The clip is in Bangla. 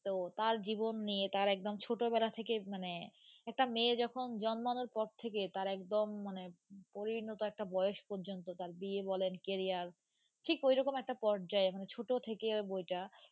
তো তার জীবন নিয়ে তার একদম ছোট বেলা থেকে মানে একটা মেয়ে যখন জন্মানোর পর থেকে তার একদম মানে পরিণত একটা বয়েস পর্যন্ত তার বিয়ে বলেন career ঠিক ওই রকম একটা পর্যায়ে মানে ছোট থেকে বইটা।,